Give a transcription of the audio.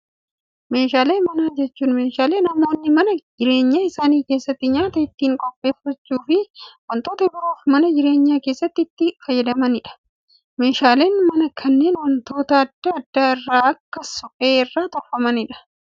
Meeshaalee manaa jechuun, meeshaalee namoonni mana jireenyaa isaanii keessatti nyaata ittiin qopheessuufii fi waantota biroof mana jireenyaa keessatti itti fayyadamanidha. Meeshaaleen manaa kunneen waantota addaa addaa kan akka suphee irraa tolfaman.